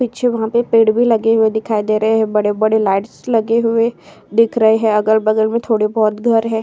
पीछे वहाँ पे पेड़ भी लगे हुए दिखाई दे रहे हैं। बड़े-बड़े लाइट्स लगे हुए दिख रहे हैं। अगल-बगल में थोड़े बोहोत घर हैं।